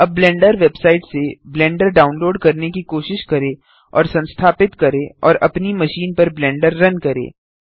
अब Blender website से Blender download करने की कोशिश करें और संस्थापित करें और अपनी मशीन पर ब्लेंडर रन करें